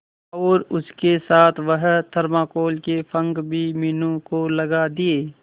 और उसके साथ वह थर्माकोल के पंख भी मीनू को लगा दिए